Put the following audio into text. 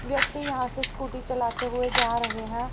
व्यक्ती यहां से स्कूटी चलाते हुए जा रहे हैं।